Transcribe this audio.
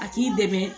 A k'i dɛmɛ